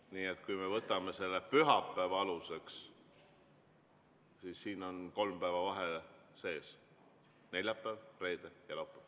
Nii et kui me võtame aluseks selle pühapäeva, siis on kolmepäevane vahe sees: neljapäev, reede ja laupäev.